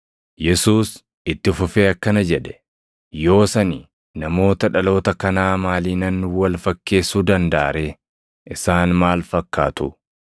Yesuus itti fufee akkana jedhe; “Yoos ani namoota dhaloota kanaa maaliinan wal fakkeessuu dandaʼa ree? Isaan maal fakkaatu?